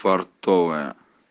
портовая